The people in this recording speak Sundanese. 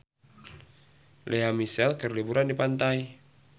Lea Michele keur liburan di pantai